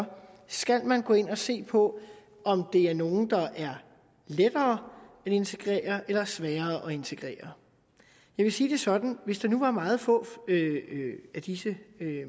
skal man gå ind og se på om det er nogle der er lettere at integrere eller sværere at integrere jeg vil sige det sådan hvis det nu var meget få af disse